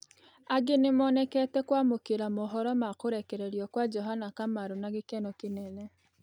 Angĩ nĩmonĩkete kwamũkĩra mohoro ma kũrekererĩo kwa Johana Kamaru na gĩkeno kĩnene